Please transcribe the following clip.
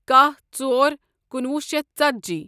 کاہ ژور کُنوُہ شیتھ ژتجی